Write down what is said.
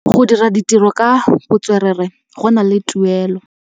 Go dira ditirô ka botswerere go na le tuelô.